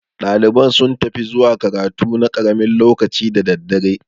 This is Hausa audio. Ɗalibai sun fi ta zuwa karatu na karamin lokaci da daddare.